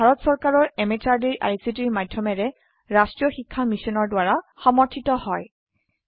ই ভাৰত চৰকাৰৰ MHRDৰ ICTৰ মাধয়মেৰে ৰাস্ত্ৰীয় শিক্ষা মিছনৰ দ্ৱাৰা সমৰ্থিত হয়